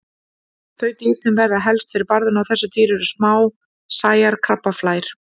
Þau dýr sem verða helst fyrir barðinu á þessu dýri eru smásæjar krabbaflær.